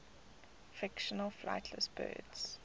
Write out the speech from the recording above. fictional flightless birds